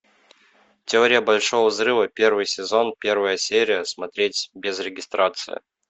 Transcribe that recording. теория большого взрыва первый сезон первая серия смотреть без регистрации